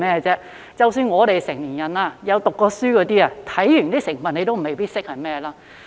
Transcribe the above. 即使我們成年人，曾唸過書的，看完成分也未必認識是甚麼。